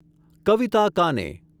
કવિતા કાને